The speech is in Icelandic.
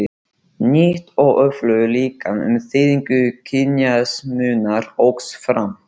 Nýtt og öflugra líkan um þýðingu kynjamismunar óx fram.